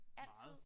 Altid?